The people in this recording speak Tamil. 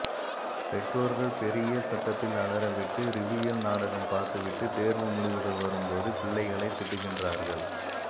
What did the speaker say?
பெற்றோர்கள் பெரிய சத்தத்தில் அலற விட்டு ரிவியில் நாடகம் பார்த்து விட்டு தேர்வு முடிவுகள் வரும் போது பிள்ளைகளைத் திட்டுகின்றார்கள்